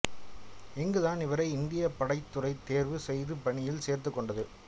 இங்கு தான் இவரை இந்தியப் படைத்துறை தேர்வு செய்து பணியில் சேர்த்துக்கொண்டது